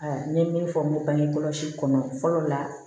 n ye min fɔ n ko bangekɔlɔsi kɔnɔ fɔlɔ la